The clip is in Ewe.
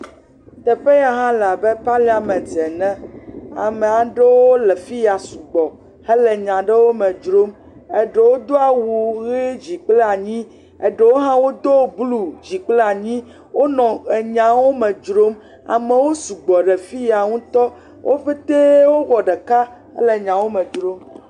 Teƒe ya ha le abe parliament ene, ame aɖewo le fi ya sugbɔ hele nya aɖewo me dzrom, eɖewo do awu ʋe dzi kple anyi, eɖewo hã do blud zi kple anti, wonɔ enyawo me dzrom. Amewo sugbɔ ɖe fi ya ŋuti, wo pete wowɔ ɖeka wole nyawo me dzrom.